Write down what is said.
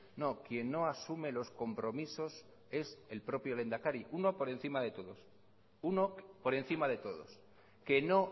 no quien no asume los compromisos es el propio lehendakari uno por encima de todos uno por encima de todos que no